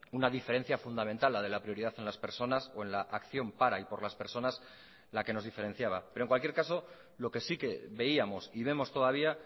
una diferencia fundamental la de la prioridad en las personas o en la acción para y por las personas la que nos diferenciaba pero en cualquier caso lo que sí que veíamos y vemos todavía